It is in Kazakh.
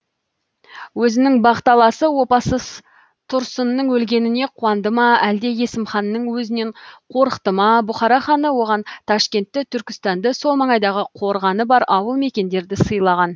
өзінің бақталасы опасыз тұрсынның өлгеніне қуанды ма әлде есімханның өзінен қорықты ма бұхара ханы оған ташкентті түркістанды сол маңайдағы қорғаны бар ауыл мекендерді сыйлаған